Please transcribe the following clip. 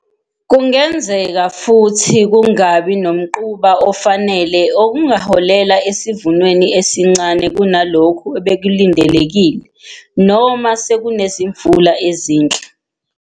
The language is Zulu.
Kungenzeka futhi kungabi nomquba ofanele okungaholela esivunweni esincane kunalokhu bekulindelekile noma sekunezimvula ezinhle.